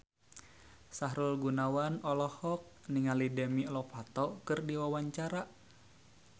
Sahrul Gunawan olohok ningali Demi Lovato keur diwawancara